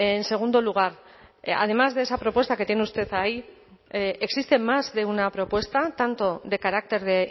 en segundo lugar además de esa propuesta que tiene usted ahí existe más de una propuesta tanto de carácter de